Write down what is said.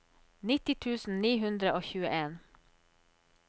nitti tusen ni hundre og tjueen